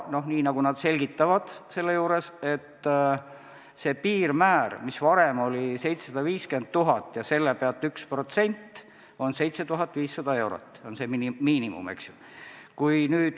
Nad selgitavad, et see piirmäär, mis varem oli 750 000 eurot ja millest 1% on 7500, on see miinimum.